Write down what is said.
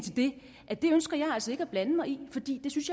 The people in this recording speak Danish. at det ønsker jeg altså ikke at blande mig i fordi jeg synes